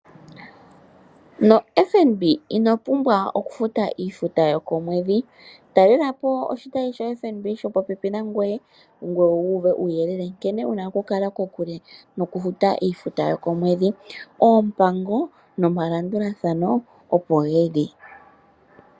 NoFNB ino pumbwa okufuta iifuta yokomwedhi, talelapo oshitayi ko FNB shopopepi nangoye. Ngoye wu uve uuyelele nkene wuna okukala kokule nokufuta iifuta yokomwedhi. Oompango nomalandulathano opo geli.